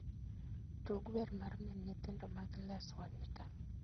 Tug wer mar min nyithindo mag Les wa Nyika